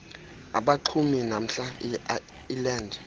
abaxumi namhla iland